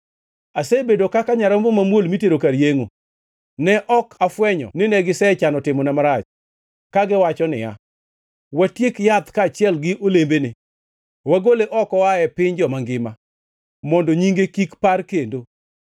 Asebedo kaka nyarombo mamuol mitero kar yengʼo; ne ok afwenyo nine gisechano timona marach, kagiwacho niya, “Watiek yath kaachiel gi olembene; wagole oko oaye piny joma ngima, mondo nyinge kik par kendo.”